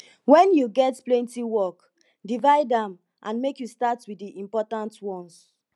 wen you get plenty work divide am and make you start wit di important ones